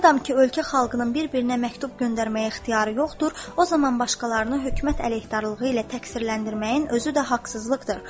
Madam ki, ölkə xalqının bir-birinə məktub göndərməyə ixtiyarı yoxdur, o zaman başqalarını hökumət əleyhdarlığı ilə təqsirləndirməyin özü də haqsızlıqdır.